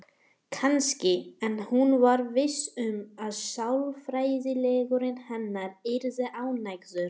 Kannski, en hún var viss um að sálfræðingurinn hennar yrði ánægður.